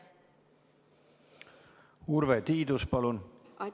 Urve Tiidus, palun!